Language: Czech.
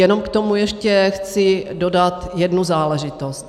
Jenom k tomu ještě chci dodat jednu záležitost.